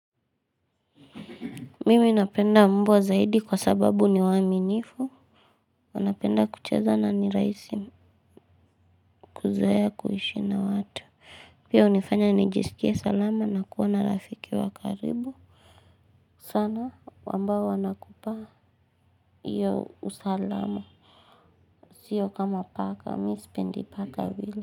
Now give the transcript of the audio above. Mimi napenda mbwa zaidi kwa sababu ni waaminifu. Wanapenda kucheza na ni raisi kuzoea kuishi na watu. Pia hunifanya nijisikie salama na kuwa na rafiki wa karibu sana wambao wanakupa iyo usalama. Sio kama paka mi sipendi paka vile.